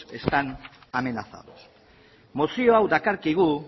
están amenazados mozio hau dakarkigu